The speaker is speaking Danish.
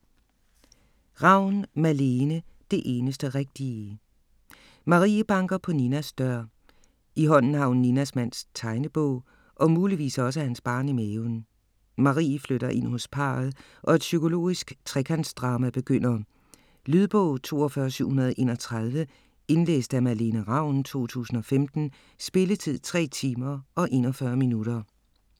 Ravn, Malene: Det eneste rigtige Marie banker på Ninas dør. I hånden har hun Ninas mands tegnebog og muligvis også hans barn i maven. Marie flytter ind hos parret og et psykologisk trekantsdrama begynder. Lydbog 42731 Indlæst af Malene Ravn, 2015. Spilletid: 3 timer, 41 minutter.